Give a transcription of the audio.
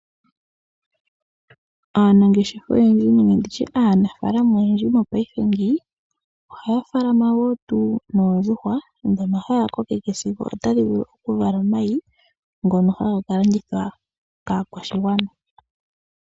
Aanafalama oyendji ohaya munu oondjuhwa, ndhoka haya kokeke sigo otadhi vala omayi ngono haya ka landitha kaakwashigwana.